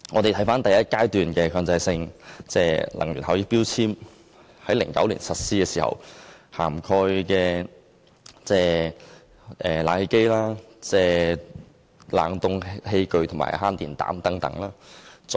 第一階段強制性標籤計劃在2009年實施，涵蓋冷氣機、冷凍器具及慳電膽。